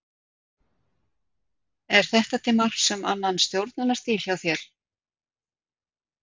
Er þetta til marks um annan stjórnunarstíl hjá þér?